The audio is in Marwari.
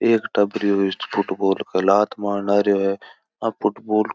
एक टाबरियो फुटबॉल के लात मारण लागरो है आ फुटबॉल --